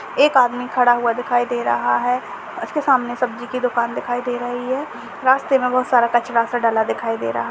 एक आदमी खड़ा हुआ दिखाई दे रहा है उसके सामने सब्जी की दुकान दिखाई दे रही है रास्ते में बहोत सारा कचड़ा सा डाला दिखाई दे रहा है।